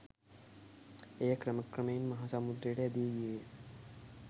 එය ක්‍රමක්‍රමයෙන් මහාසමුද්‍රයට ඇදී ගියේ ය